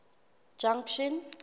junction